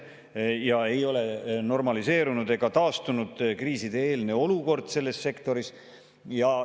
Selles sektoris ei ole olukord normaliseerunud ega kriisieelne olukord taastunud.